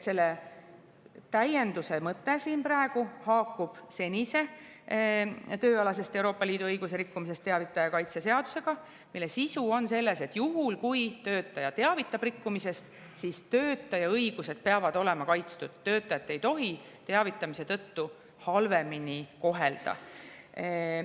Selle täienduse mõte siin praegu haakub senise tööalasest Euroopa Liidu õiguse rikkumisest teavitaja kaitse seadusega, mille sisu on selles, et juhul, kui töötaja teavitab rikkumisest, siis töötaja õigused peavad olema kaitstud, töötajat ei tohi teavitamise tõttu halvemini kohelda.